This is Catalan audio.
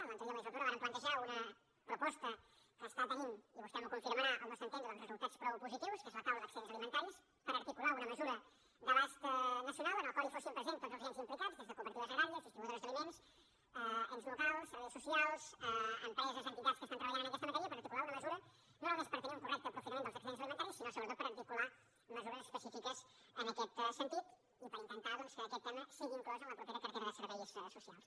en l’anterior legislatura vàrem plantejar una proposta que té i vostè m’ho confirmarà al nostre entendre doncs resultats prou positius que és la taula d’excedents alimentaris per articular una mesura d’abast nacional en la qual fossin presents tots els agents implicats des de cooperatives agràries distribuïdores d’aliments ens locals serveis socials empreses i entitats que treballen en aquesta matèria per articular una mesura no només per tenir un correcte aprofitament dels excedents alimentaris sinó sobretot per articular mesures específiques en aquest sentit i per intentar doncs que aquest tema sigui inclòs en la propera cartera de serveis socials